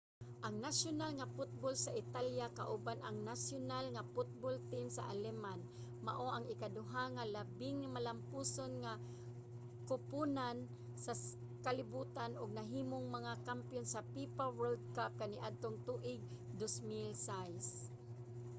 ang nasyonal nga football sa italya kauban ang nasyonal nga football team sa aleman mao ang ikaduha nga labing malampuson nga koponan sa kalibutan ug nahimong mga kampiyon sa fifa world cup kaniadtong tuig 2006